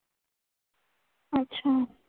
अच्छा.